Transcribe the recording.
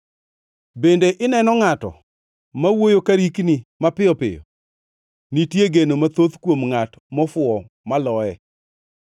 Bende ineno ngʼato ma wuoyo ka rikni mapiyo piyo? Nitie geno mathoth kuom ngʼat mofuwo maloye.